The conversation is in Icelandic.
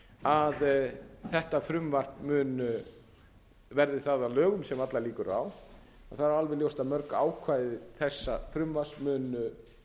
að þetta frumvarp mun verði það að lögum sem allar líkur eru á þá er alveg ljóst að mörg ákvæði þessa frumvarps munu